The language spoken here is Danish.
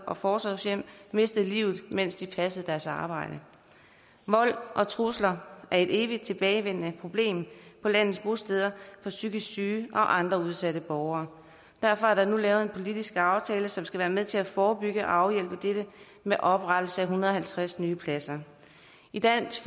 og forsorgshjem mistet livet mens de passede deres arbejde vold og trusler er et evigt tilbagevendende problem på landets bosteder for psykisk syge og andre udsatte borgere derfor er der nu lavet en politisk aftale som skal være med til at forebygge og afhjælpe dette med oprettelse af en hundrede og halvtreds nye pladser i dansk